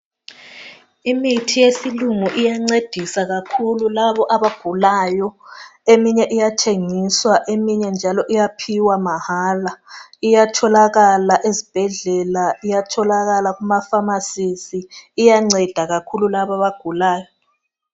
Imithi yesilungu iyancedisa kakhulu labo abagulayo eminye iyathengiswa eminye njalo iyaphiwa mahala iyatholakala ezibhedlela iyatholakala emafamasi iyanceda kakhulu labo abagulayo.